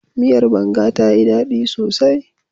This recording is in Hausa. Miyar banga tayi ɗaɗi sosai.